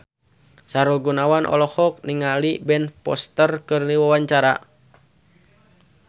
Sahrul Gunawan olohok ningali Ben Foster keur diwawancara